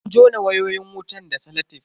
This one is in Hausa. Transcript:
An jona wayoyin wutan da salatef.